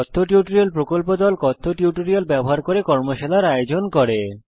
কথ্য টিউটোরিয়াল প্রকল্প দল কথ্য টিউটোরিয়াল ব্যবহার করে কর্মশালার আয়োজন করে